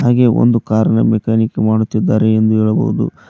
ಹಾಗೆ ಒಂದು ಕಾರ್ ನಾ ಮೆಕ್ಯಾನಿಕ್ ಮಾಡುತ್ತಿದ್ದಾರೆ ಎಂದು ಹೇಳಬಹುದು.